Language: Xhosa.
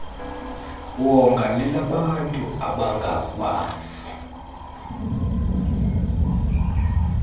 wonga lelabantu abangakwazi